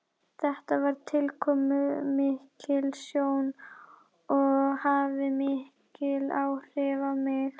Þetta var tilkomumikil sjón og hafði mikil áhrif á mig.